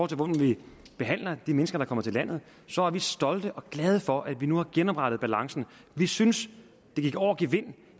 til hvordan vi behandler de mennesker der kommer til landet så er vi stolte over og glade for at vi nu har genoprettet balancen vi synes det gik over gevind